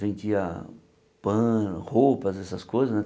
Vendia pã, roupas, essas coisas né.